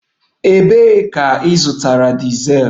Ebee ka ịzụta dizel?